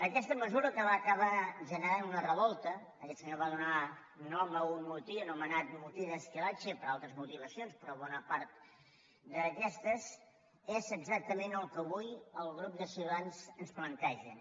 aquesta mesura que va acabar generant una revolta aquest senyor va donar nom a un motí anomenat motí d’esquilache per altres motivacions però bona part d’aquestes és exactament el que avui el grup de ciutadans ens plantegen